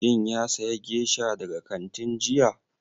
Shin ya saya gesha daga kantin jiya?